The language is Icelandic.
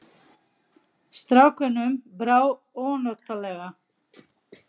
Strákunum brá ónotalega.